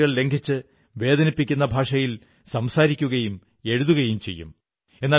ചിലർ പരിധികൾ ലംഘിച്ച് വേദനിപ്പിക്കുന്ന ഭാഷയിൽ സംസാരിക്കുകയും എഴുതുകയും ചെയ്യും